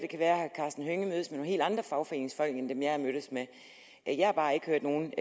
kan være at herre karsten hønge mødes med helt andre fagforeningsfolk end dem jeg har mødtes med jeg har bare ikke hørt nogen